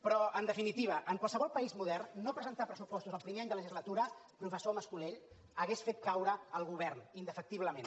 però en definitiva en qualsevol país modern no presentar pressupostos el primer any de legislatura profe ssor mas colell hauria fet caure el govern indefectiblement